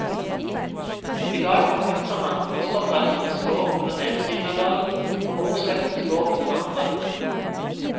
I dag forpakter han fosterforeldrenes gård på den ene siden av dalen, og morsslektens gård på den andre.